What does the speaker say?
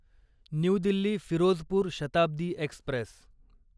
new Delhi Firozpur Shatabdi Express